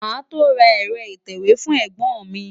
Màá tó ra ẹ̀rọ ìtẹ̀wé fún ẹ̀gbọ́n mi.